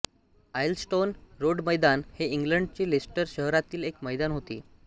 Aylestone road मैदान हे इंग्लंडच्या लेस्टर शहरातील एक मैदान होते